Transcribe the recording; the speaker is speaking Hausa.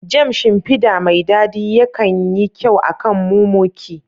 Jam, shimfida mai dadi ya kan yi kyau akan mumuki.